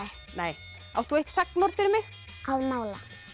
nei átt þú eitt sagnorð fyrir mig